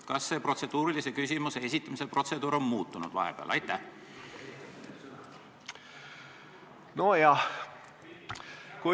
Kas protseduurilise küsimuse esitamise protseduur on vahepeal muutunud?